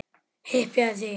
Hypjaðu þig!